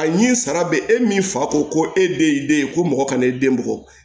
A ɲi sara bɛ e min fa ko ko e de y'i den ye ko mɔgɔ kana i den bɔ